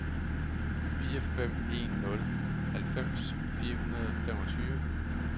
fire fem en nul halvfems fire hundrede og femogtyve